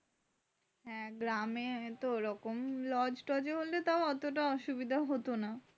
হ্যাঁ গ্রামে তো ওরকম lodge-touag হলে তাউ অতটা অসুবিধা হতো না।